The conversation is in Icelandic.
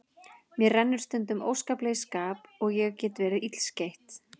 Mér rennur stundum óskaplega í skap og ég get verið illskeytt.